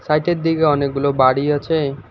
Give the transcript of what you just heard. সাইটের দিকে অনেকগুলো বাড়ি আছে।